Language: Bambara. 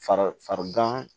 Fari fari gan